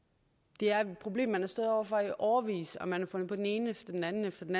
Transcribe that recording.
det er et problem man har stået over for i årevis og man har fundet på den ene efter den anden efter den